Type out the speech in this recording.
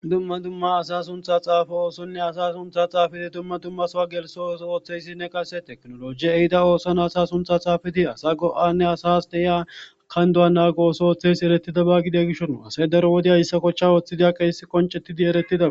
dumma dumma asa suntha xaafo oosonne asa suntha xaafiti dumma dummasowa geliso ooso ooththeyssinne qase teknoloji ehida ooson asa suntha xaafiti asa go7anne asas dehiya kan doa naagooso ooththeys erettida ba gide gishon asay daro wodiayssa kochcha ooththidia qeessi qoncettidi eretida